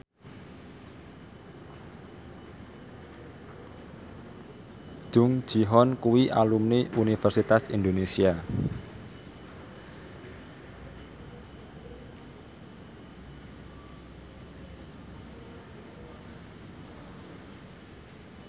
Jung Ji Hoon kuwi alumni Universitas Indonesia